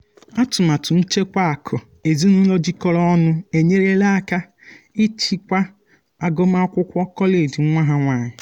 atụmatụ nchekwa akụ ezinụlọ jikọrọ ọnụ enyela aka ịchịkwa agụmakwụkwọ kọleji nwa ha nwanyị.